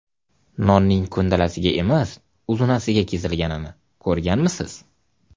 Nonning ko‘ndalang emas, uzunasiga kesilganini ko‘rganmisiz?